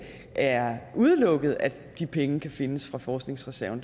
er udelukket at de penge kan findes fra forskningsreserven